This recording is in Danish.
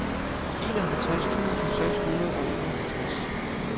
enoghalvtreds tusind seks hundrede og enoghalvtreds